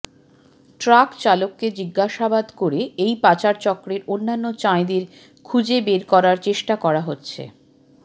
truck চালককে জিজ্ঞাসাবাদ করে এই পাচারচক্রের অন্যান্য চাঁইদের খুঁজে বের করার চেষ্টা করা হচ্ছে